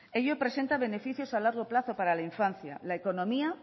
ello presenta beneficios a largo plazo para la infancia la economía